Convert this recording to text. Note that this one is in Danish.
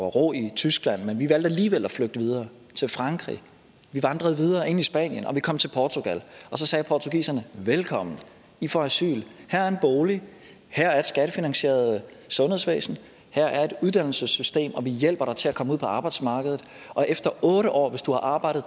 ro i tyskland men vi valgte alligevel at flygte videre til frankrig vi vandrede videre ind i spanien og vi kom til portugal så sagde portugiserne velkommen i får asyl her er en bolig her er et skattefinansieret sundhedsvæsen her er et uddannelsessystem og vi hjælper dig til at komme ud på arbejdsmarkedet og efter otte år hvis du har arbejdet